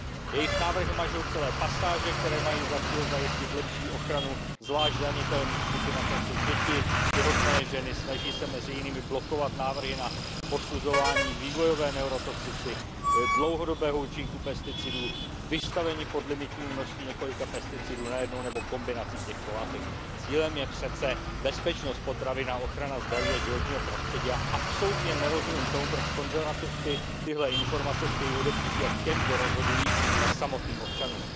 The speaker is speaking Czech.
Jejich návrhy mažou celé pasáže, které mají za cíl zajistit lepší ochranu zvlášť zranitelných skupin, jako jsou děti, těhotné ženy, snaží se mezi jinými blokovat návrhy na posuzování vývojové neurotoxicity, dlouhodobého účinku pesticidů, vystavení podlimitnímu množství několika pesticidů najednou nebo kombinací těchto látek. Cílem je přece bezpečnost potravin a ochrana zdraví a životního prostředí a absolutně nerozumím tomu, proč konzervativci tyhle informace chtějí odepřít jak těm, kdo rozhodují, tak samotným občanům.